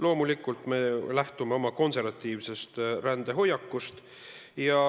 Loomulikult, me lähtume oma konservatiivsest rändehoiakust.